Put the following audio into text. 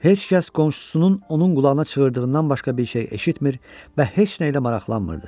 Heç kəs qonşusunun onun qulağına çığırdığından başqa bir şey eşitmir və heç nəylə maraqlanmırdı.